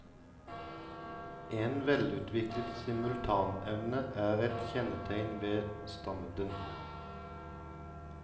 En velutviklet simultanevne er et kjennetegn ved standen.